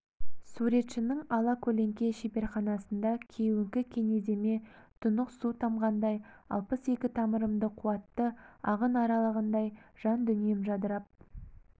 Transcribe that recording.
суретшінің алакөлеңке шеберханасында кеуіңкі кенеземе тұнық су тамғандай алпыс екі тамырымды қуатты ағын аралағандай жан-дүнием жадырап